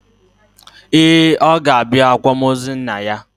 Ee, ọ ga-abịa akwamozu nna ya.